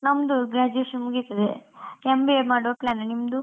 ನಮ್ದು graduation ಮುಗಿತದೆ, MBA ಮಾಡುವ plan , ನಿಮ್ದು?